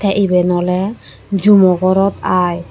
teh eben ole jumo gorot aai.